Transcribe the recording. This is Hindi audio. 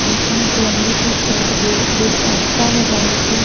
बीच में एक लंबी सड़ रो बे रास्ता है जाने को--